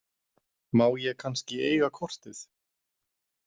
Má ég kannski eiga kortið?